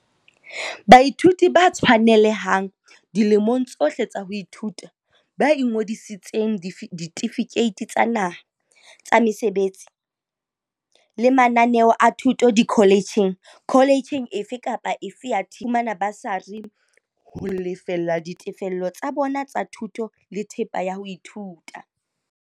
Baithuti ba tshwanelehang, dilemong tsohle tsa ho ithuta, ba ingodiseditseng ditefikeiti tsa naha, tsa mesebetsi, le mananeo a thuto dikhole tjheng - kholetjheng efe kapa efe ya TVET - ba tla fumana basari ho lefella ditefello tsa bona tsa thuto le thepa ya ho ithuta.